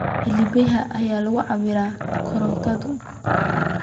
Halbeegdee ayaa lagu cabbiraa korontadu?